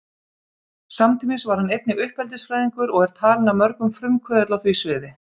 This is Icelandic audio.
Samtímis var hann einnig uppeldisfræðingur og er talinn af mörgum frumkvöðull á því sviði.